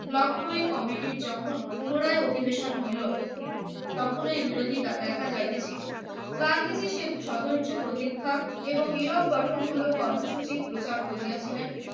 লখনৌয় কমিটির যখন পুনরায় অধিবেশন হইল তখন এই বিরোধিতা দেখা যায় যে ছিল সদস্য প্রতীক্ষা এবং নীরব গঠনমূলক কর্মসূচি প্রচার করিয়াছিলেন